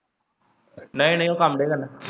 ਨਹੀਂ ਨਹੀਂ ਉਹ ਕੰਮ ਤੇ ਜਾਂਦਾ।